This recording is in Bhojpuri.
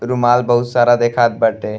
रुमाल बहुत सारा देखात बाटे।